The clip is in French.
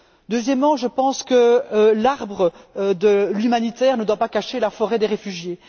Deuxièmement, je pense que l'arbre de l'humanitaire ne doit pas cacher la forêt des refugiés.